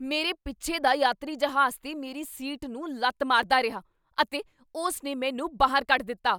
ਮੇਰੇ ਪਿੱਛੇ ਦਾ ਯਾਤਰੀ ਜਹਾਜ਼ 'ਤੇ ਮੇਰੀ ਸੀਟ ਨੂੰ ਲੱਤ ਮਾਰਦਾ ਰਿਹਾ ਅਤੇ ਉਸ ਨੇ ਮੈਨੂੰ ਬਾਹਰ ਕੱਢ ਦਿੱਤਾ।